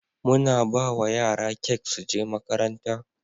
muna bawa yara kek suje makaranta